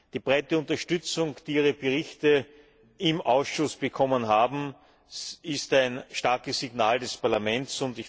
Die breite Unterstützung, die Ihre Berichte im Ausschuss bekommen haben, ist ein starkes Signal des Parlaments.